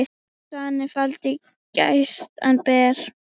Svanni faldinn glæstan ber.